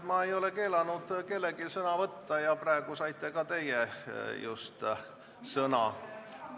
Ma ei ole kellelgi keelanud sõna võtta ja just praegu saite ka teie sõna.